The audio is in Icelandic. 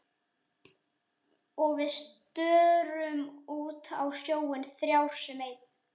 Og við störum út á sjóinn þrjár sem ein.